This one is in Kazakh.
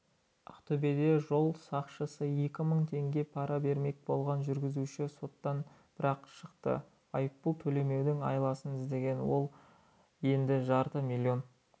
ақтөбеде жол сақшысы екі мың теңге пара бермек болған жүргізуші соттан бір-ақ шықты айыппұл төлемеудің айласын іздеген ол енді жарты миллион